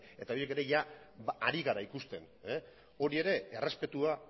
eta horiek ere ari gara ikusten hori ere errespetua